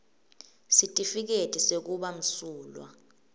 sitifiketi sekuba msulwa